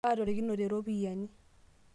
aatorikinote iropiani